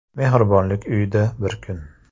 Mehribonlik uyida bir kun.